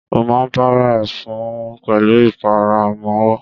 Ó ma para fún pẹ̀lú ìpara ọmọwọ́.